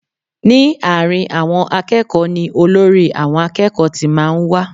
Ní àárín àwọn akẹ́kọ̀ọ́ ni olórí àwọn akẹ́kọ̀ọ́ ti máa ń wá